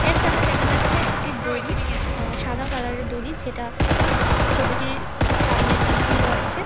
সামনে দেখা যাচ্ছে একটি দড়ি সাদা কালারের দড়ি যেটা আ-ছবিটির সামনের দিকে রয়েছে।